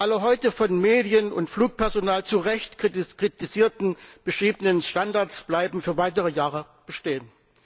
Alle heute von Medien und Flugpersonal zu Recht kritisierten beschriebenen Standards bleiben für weitere Jahre bestehen.